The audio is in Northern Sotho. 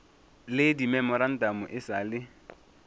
le dimemorantamo e sa le